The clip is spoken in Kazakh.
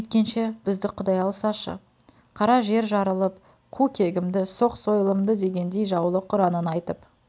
бүйткенше бізді құдай алсашы қара жер жарылып қу кегімді соқ сойылымды дегендей жаулық ұранын айтып